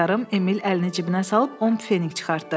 Emil əlini cibinə salıb 10 pfenink çıxartdı.